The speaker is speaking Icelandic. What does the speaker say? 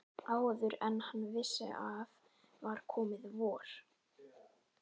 Áður en hann vissi af var komið vor.